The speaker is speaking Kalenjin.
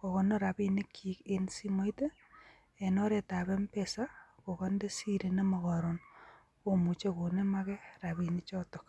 kokonoor rabinikchik en simoit en oretab mpesa kokonde sirii koron komuche koneem rabinik choton.